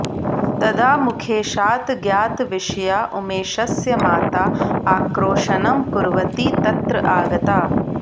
तदा मुखेशात् ज्ञातविषया उमेशस्य माता आक्रोशनं कुर्वती तत्र आगता